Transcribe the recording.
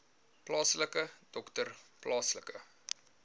plaaslike dokter plaaslike